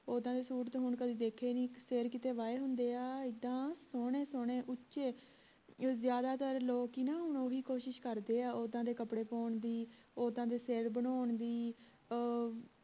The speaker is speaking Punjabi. ਉੱਦਾਂ ਦੇ ਸੂਟ ਹੁਣ ਤਾਂ ਕੀਤੇ ਦੇਖੇ ਹੀ ਨਹੀਂ ਸਰ ਕਿਤੇ ਵਾਏ ਹੁੰਦੇ ਆ ਇੱਦਾਂ ਸੋਹਣੇ ਸੋਹਣੇ ਉੱਚੇ ਜ਼ਿਆਦਾਤਰ ਲੋਕ ਹੁਣ ਕਿ ਨਾ ਓਹੀ ਕੋਸ਼ਿਸ਼ ਕਰਦੇ ਆ ਓਦਾਂ ਦੇ ਕਪੜੇ ਪਾਉਣ ਦੀ ਉੱਦਾਂ ਦੇ ਸਿਰ ਬਣਾਉਣ ਦੀ ਅਹ